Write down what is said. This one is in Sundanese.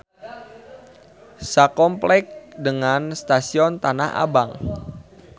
Sakompleks dengan stasion Tanah Abang.